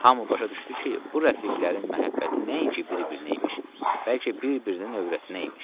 Hamı başa düşdü ki, bu rəfiqlərin məhəbbəti nəinki bir-birinə imiş, bəlkə bir-birinin övrətinə imiş.